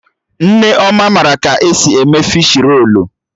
Nneoma mara ka esi eme fishi rolu